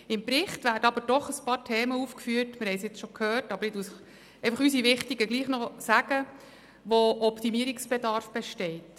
Im Bericht werden aber doch einige Themen mit Optimierungsbedarf aufgeführt.